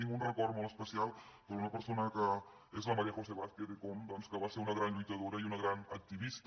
tinc un record molt especial per una persona que és la maría josé vázquez d’ecom doncs que va ser una gran lluitadora i una gran activista